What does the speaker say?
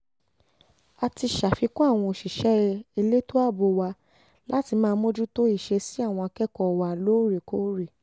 a ti ṣàfikún àwọn òṣìṣẹ́ elétò ààbò wa láti máa mójútó ìṣesí àwọn akẹ́kọ̀ọ́ wa lóòrèkóòrè